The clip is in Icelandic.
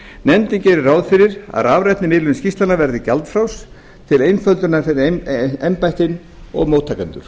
nefndin gerir ráð fyrir að rafræn miðlun skýrslnanna verði gjaldfrjáls til einföldunar fyrir embættin og móttakendur